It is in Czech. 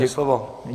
Máte slovo.